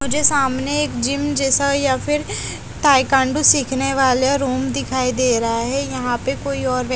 मुझे सामने एक जिम जैसा या फिर ताइक्वांडो सिखाने वाले रूम दिखाई दे रहा है यहां पे कोई और व्य--